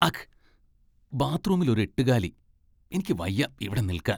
അഘ്ഘ്! ബാത്ത്റൂമിലൊരു എട്ടുകാലി! എനിക്കുവയ്യ ഇവിടെ നിൽക്കാൻ.